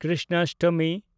Krishnashtami